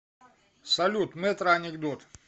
салют метро анекдот